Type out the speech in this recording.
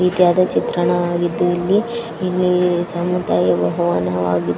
ಚಿತ್ರಣವಾಗಿದ್ದು ಇಲ್ಲಿ ಇಲ್ಲಿ ಸಮುದಾಯ ಭವನವಾಗಿದ್ದು --